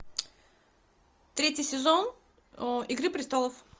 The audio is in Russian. третий сезон игры престолов